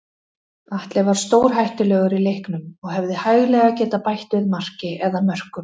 Atli var stórhættulegur í leiknum og hefði hæglega getað bætt við marki eða mörkum.